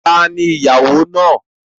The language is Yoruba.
Ta ni ìyàwó náà?